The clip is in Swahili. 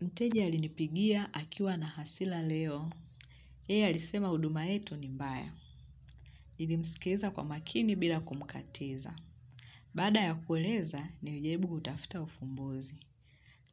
Mteja alinipigia akiwa na hasila leo. Yeye alisema huduma yetu ni mbaya. Nilimsikeza kwa makini bila kumkatiza. Baada ya kueleza, niljaribu kutafuta ufumbuzi.